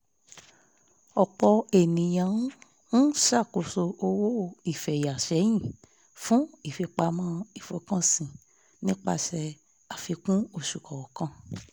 ọ̀pọ̀ ènìyàn ń ṣàkóso owó ìfẹ̀yà sẹ́yìn fún ìfipamọ́ ìfọkànsìn nípasẹ̀ àfikún oṣù kọọkan